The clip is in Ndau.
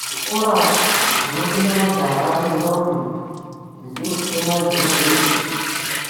Zvikora zvinofunde majaha nentombi dzichiri kutemwa zvinobve